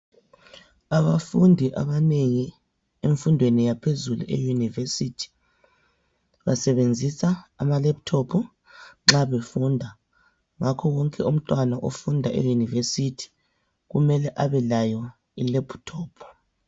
Abafundi ananengi, emfundweni yaphezulu, e- university. Basebenzisa amalaptop nxa befunda. Ngakho wonke umntwana ofunda e- university, kumele abelayo ilaptop.